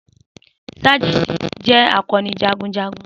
Sajenti jẹ akọni jagunjagun.